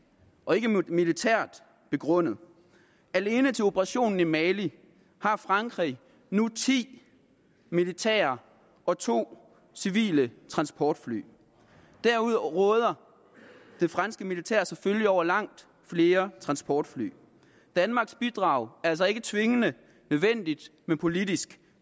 og ikke militært begrundet alene til operationen i mali har frankrig nu ti militære og to civile transportfly derudover råder det franske militær selvfølgelig over langt flere transportfly danmarks bidrag er altså ikke tvingende nødvendigt men politisk